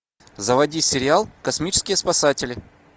заводи сериал космические спасатели